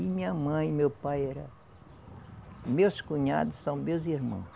E minha mãe, meu pai era. Meus cunhados são meus irmãos.